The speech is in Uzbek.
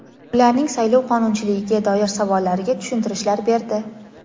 ularning saylov qonunchiligiga doir savollariga tushuntirishlar berdi.